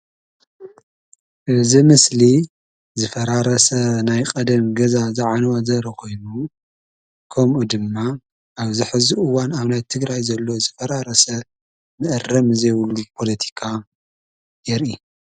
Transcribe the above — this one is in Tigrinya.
እዚ ምስሊ ዝፈራረሰ ናይ ቀደም ገዛ ዝዓነወ ዘርኢ ኾይኑ ከምኡ ድማ ኣብዚ ሕዚ እዋን ኣብ ትግራይ ዘሎ ዝፈራረሰ መኣረሚ ዘይብሉ ፖለቲካ የርኢ፡፡